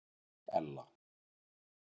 Ella